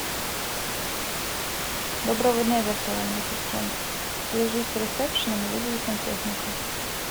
доброго дня виртуальный ассистент свяжись с ресепшеном и вызови сантехника